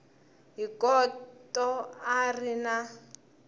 hi khoto a ri na